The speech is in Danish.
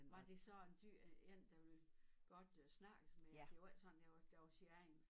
Var det så en dyr en der ville godt snakke med jer det var ikke sådan det var det var sin egen